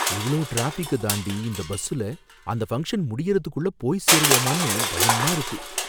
இவ்ளோ டிராஃபிக்க தாண்டி இந்த பஸ்ஸுல அந்த ஃபங்க்ஷன் முடியறதுக்குள்ள போய் சேருவோமானு பயமா இருக்கு.